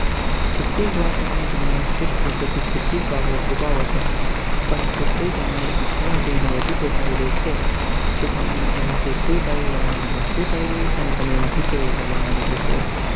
કેટલી વાર તમે તમારા શ્રેષ્ઠ મિત્રથી કેટલીક વાતો છુપાવ છે, પરંતુ તે તમારી આંખોમાં જઈને બધું બતાવે છે કે તમે એમાંથી શુ થયું તમારાં મનમાં શુ ચાલી રહ્યું છે અને તમે એમાં થી કઈ રીતે બહાર આવી શકો